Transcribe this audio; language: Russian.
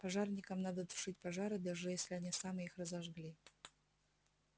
пожарникам надо тушить пожары даже если они сами их разожгли